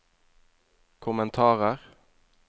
kommentarer